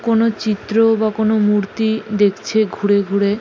কোনো চিএ বা কোনো মূর্তি দেখছে ঘুরে ঘুরে।